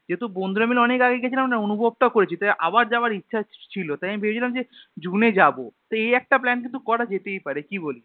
যেহুতু বন্ধুরা মিলে অনেক আগে গেছিলাম না অনুভব টা করেছি তাই আবার যাওয়ার ইচ্ছেও ছিলো তাই আমি ভেবেছিলাম যে June এ যাবো তো এই একটা plan কিন্তু করা যেতেই পারে কি বলিশ